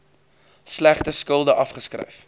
slegte skulde afgeskryf